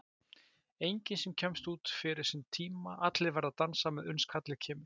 Enginn sem kemst út fyrir sinn tíma, allir verða að dansa með uns kallið kemur.